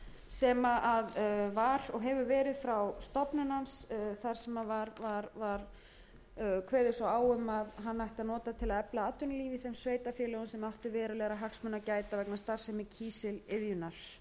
sem var og hefur verið frá stofnun hans þar sem kveðið var svo á um að hann ætti að nota til að efla atvinnulíf í þeim sveitarfélögum sem áttu verulegra hagsmuna að gæta vegna starfsemi kísiliðjunnar